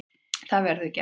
Það verður gert.